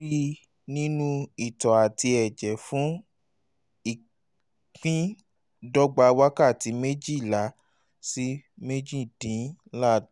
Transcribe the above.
lè rí i nínú itọ́ àti ẹ̀jẹ̀ fún ìpíndọ́gba wákàtí méjìlá sí méjìdínláà